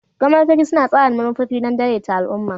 Gwamnatoci suna tsara manufofi don daidaita al'umma.